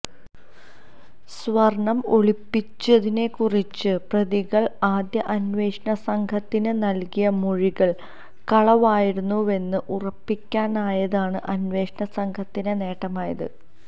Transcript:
സ്വർണം ഒളിപ്പിച്ചതിനെക്കുറിച്ച് പ്രതികൾ ആദ്യ അന്വേഷണ സംഘത്തിന് നൽകിയ മൊഴികൾ കളവായിരുന്നുവെന്ന് ഉറപ്പിക്കാനായതാണ് അന്വേഷണ സംഘത്തിന് നേട്ടമായത്